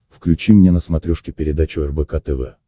включи мне на смотрешке передачу рбк тв